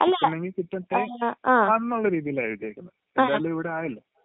കിട്ടണെങ്കി കിട്ടട്ടെ എന്നുള്ള രീതിയിലാണ് എഴുതിയെക്കുന്നെ. എന്തായാലും ഇവിടെ ആയല്ലോ..